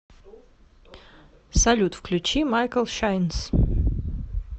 салют включи майкл шайнс